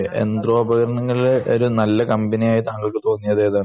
യന്ത്രോപകരണങ്ങൾ ഒരു നല്ല കമ്പനി ആയിട്ടു താങ്കൾക്ക്